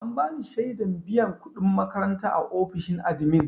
An bani shaidar biyan kuɗin makaranta a ofishin admin.